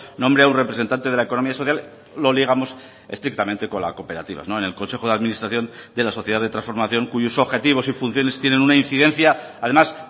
nombre a un representante de la economía social lo ligamos estrictamente con la cooperativa en el consejo de administración de la sociedad de transformación cuyos objetivos y funciones tienen una incidencia además